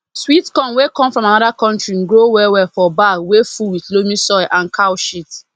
sweet corn wey come from another country grow well well for bag wey full with loamy soil and cow sheat